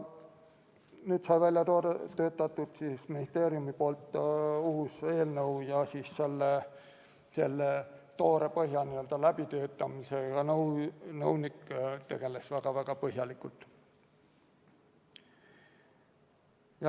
Seega töötas ministeerium välja uue eelnõu, mille põhja läbitöötamisega tegeles nõunik väga-väga põhjalikult.